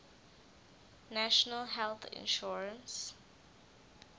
national health insurance